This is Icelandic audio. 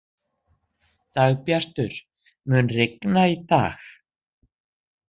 Dagbjartur, mun rigna í dag?